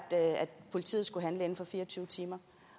politiet skulle handle inden for fire og tyve timer